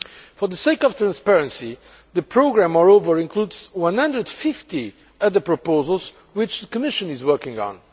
For the sake of transparency, the programme moreover includes 150 other proposals which the Commission is working on.